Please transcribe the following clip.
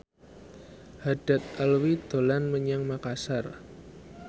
Haddad Alwi dolan menyang Makasar